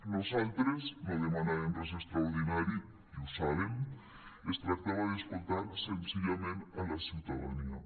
nosaltres no demanàvem res extraordinari i ho saben es tractava d’escoltar senzillament la ciutadania